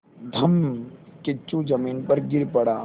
धम्मकिच्चू ज़मीन पर गिर पड़ा